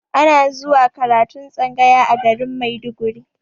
Ana zuwa karatun tsangaya a garin maiduguri